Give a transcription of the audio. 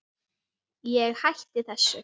Ég hætti þessu.